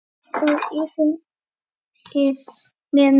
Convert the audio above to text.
Þú yfir mér nú vakir.